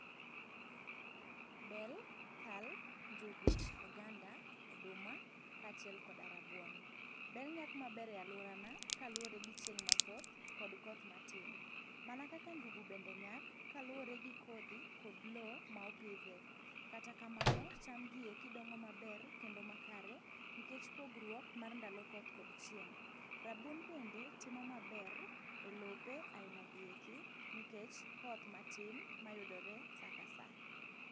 Bel, kal, njugu, oganda, oduma kaachiel koda rabuon. Bel nyak maber e aluorana kaluwore gi chieng' mathoth kod koth matin. Mana kaka njugu bende nyak kaluwore gi kodhi kod loo ma opidhe. Kata kamano, chamgi eki dongo maber kendo makare nikech pogruok mar ndalo koth kod chieng'. Rabuon bende timo maber e lope ainagi eki nikech koth matin mayudore saa ka saa.